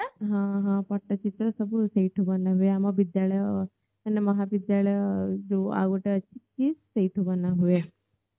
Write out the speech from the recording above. ହଁ ହଁ ପଟଚିତ୍ର ସବୁ ସେଇଠୁ ବନାହୁଏ ମାନେ ବିଦ୍ୟାଳୟ ମାନେ ଆମ ମହାବିଦ୍ୟାଳୟ ଯୋଉ ଆଉ ଗୋଟେ ଅଛି ସେଇଠୁ ବନା ହୁଏ